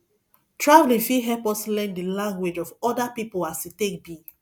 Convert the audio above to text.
traveling fit help us learn the the language of other pipo as e take be